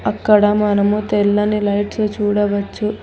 ఇక్కడ మనము తెల్లని లైట్స్ చూడవచ్చు